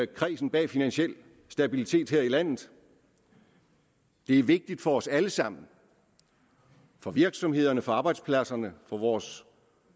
kredsen bag finansiel stabilitet her i landet det er vigtigt for os alle sammen for virksomhederne arbejdspladserne og vores